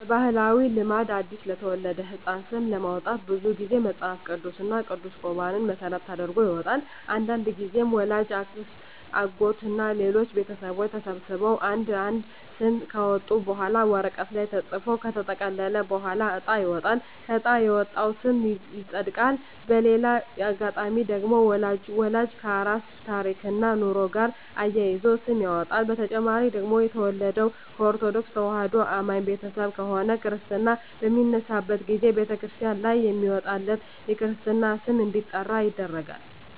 በባህላዊ ልማድ አዲስ ለተወለደ ህጻን ስም ለማውጣት ብዙ ግዜ መጸሀፍ ቅዱስ እና ቅዱስ ቁራንን መሰረት ተደርጎ ይወጣል። አንዳንድግዜም ወላጅ፣ አክስት፣ አጎት እና ሌሎች ቤተሰቦች ተሰብስበው አንድ አንድ ስም ካወጡ በኋላ ወረቀት ላይ ተጽፎ ከተጠቀለለ በኋላ እጣ ይወጣል በእጣ የወጣው ስም ይጸድቃል። በሌላ አጋጣሚ ደግሞ ወላጅ ከራሱ ታሪክና ኑሮ ጋር አዛምዶ ስም ያወጣል። በተጨማሪ ደግሞ የተወለደው ከኦርተዶክ ተዋህዶ አማኝ ቤተሰብ ከሆነ ክርስታ በሚነሳበት ግዜ በተክርስቲያን ላይ በሚወጣለት የክርስትና ስም እንዲጠራ ይደረጋል።